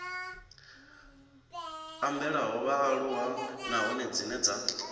ambelaho vhaaluwa nahone dzine dza